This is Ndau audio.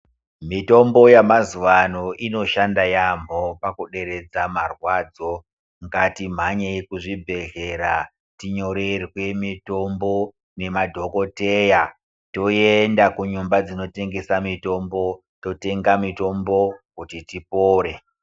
Mitombo yamazuvano inoshanda yambo pakuderedza marwadzo, ngatimhanyei kuzvibhedhleya tintorerwe mitombo nemadhokodheya toenda kunyomba dzinotengesa mitombo totenga mitombo kuti tipore.